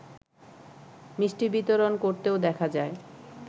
মিষ্টি বিতরণ করতেও দেখা যায়